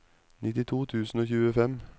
nittito tusen og tjuefem